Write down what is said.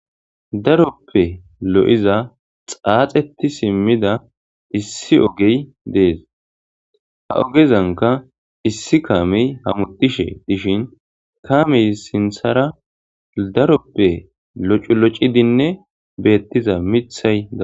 Daroppe lo'iza xaxeti sida issi oggey des. Ha ogezanka issi kame hamutishe dishi kamezas sinthara daroppe locu locidinne bettiza mithay